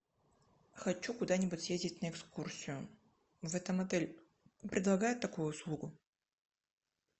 хочу куда нибудь съездить на экскурсию в этом отеле предлагают такую услугу